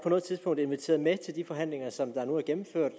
noget tidspunkt inviteret med til de forhandlinger som der nu er gennemført